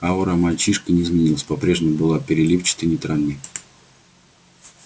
аура мальчишки не изменилась по-прежнему была переливчатой нейтральной